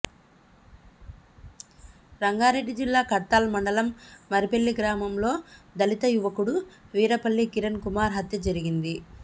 రంగారెడ్డి జిల్లా కడ్తాల్ మండలం మరిపెల్లి గ్రామంలో దళిత యువకుడు వీర్లపల్లి కిరణ్ కుమార్ హత్య జరిగింది